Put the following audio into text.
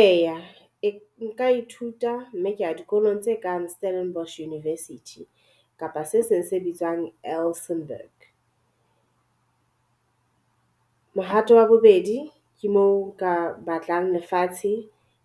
Eya e nka ithuta mme ka ya dikolong tse kang Stellenbosch University kapa se seng se bitswang Elsenburg. Mohato wa bobedi ke moo nka batlang lefatshe